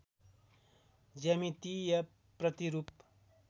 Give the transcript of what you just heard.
ज्यामितीय प्रतिरूप